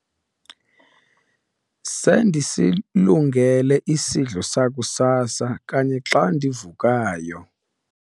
sendisilungele isidlo sakusasa kanye xa ndivukayo